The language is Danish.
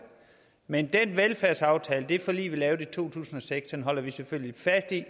men den velfærdsaftale det forlig vi lavede i to tusind og seks holder vi selvfølgelig fast i